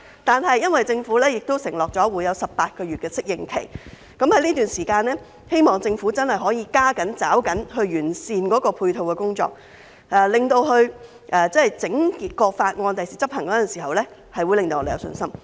不過，因為政府已經承諾會有18個月適應期，我希望在這段時間，政府真的可以加緊抓緊時間，完善配套工作，令整項法例將來執行時，可以令我們有信心。